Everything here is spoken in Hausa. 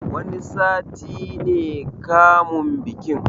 Wani sati ne kamun bikin